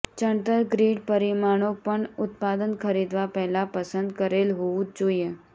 ચણતર ગ્રીડ પરિમાણો પણ ઉત્પાદન ખરીદવા પહેલા પસંદ કરેલ હોવું જ જોઈએ